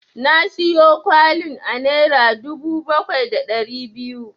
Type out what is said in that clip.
Na siyo kwalin a naira dubu bakwai da ɗari biyu.